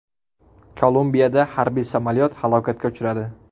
Kolumbiyada harbiy samolyot halokatga uchradi.